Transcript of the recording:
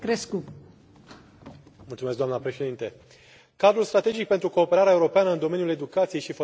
Doamnă președintă, cadrul strategic pentru cooperarea europeană în domeniul educației și formării profesionale trebuie reformat.